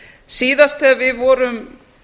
síðast þegar við vorum